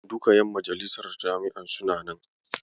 Duka ƴan majalisar jami'ar suna nan.